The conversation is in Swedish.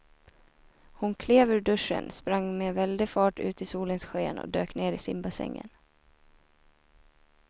Hon klev ur duschen, sprang med väldig fart ut i solens sken och dök ner i simbassängen.